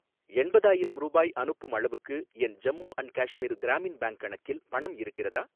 எண்பதாயிரம் ரூபாய் அனுப்பும் அளவுக்கு என் ஜம்மு அன்ட் காஷ்மீர் கிராமின் பேங்க் கணக்கில் பணம் இருக்கிறதா?